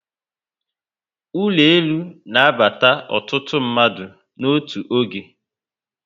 Ụlọ elu na aba ọtụtụ mmadụ n'otu oge